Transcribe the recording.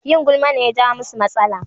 Yin gulma ne ya jawo musu matsala